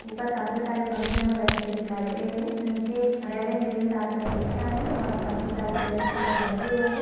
ऊपर काफी सारे पंखे हमे लटके दिखाई दे रहे है नीचे रेड एंड ग्रीन कारपेट बिछा है और काफी सारी चेयर्स पे लोग बैठे हुए है।